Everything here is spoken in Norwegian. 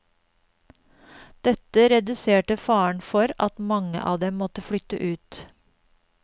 Dette reduserte faren for at mange av dem måtte flytte ut.